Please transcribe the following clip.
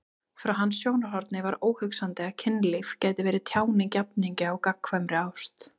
Frá hans sjónarhorni var óhugsandi að kynlíf gæti verið tjáning jafningja á gagnkvæmri ást.